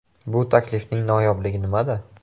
Bu taklifning noyobligi nimada?